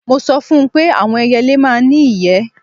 Mo sọ fún un pé àwọn ẹyẹlé máa ń ní ìyẹ́